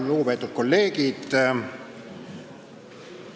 Lugupeetud kolleegid!